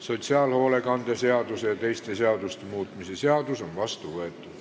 Sotsiaalhoolekande seaduse ja teiste seaduste muutmise seadus on vastu võetud.